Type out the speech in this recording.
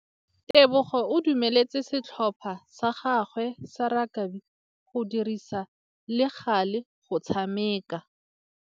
Tebogô o dumeletse setlhopha sa gagwe sa rakabi go dirisa le galê go tshameka.